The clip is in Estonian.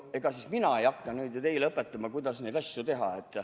Ega siis mina ei hakka teile õpetama, kuidas neid asju teha.